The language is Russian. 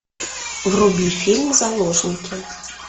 вруби фильм заложники